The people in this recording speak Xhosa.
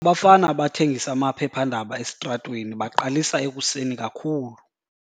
Abafana abathengisa amaphephandaba esitratweni baqalisa ekuseni kakhulu.